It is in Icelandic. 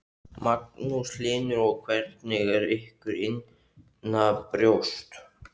Magnús Hlynur: Og hvernig er ykkur innanbrjósts?